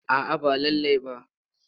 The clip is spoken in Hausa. A'a ba lallai ba.